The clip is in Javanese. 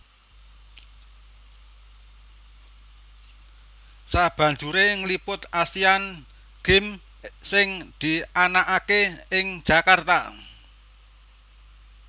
sabanjuré ngliput Asian Games sing dianakaké ing Jakarta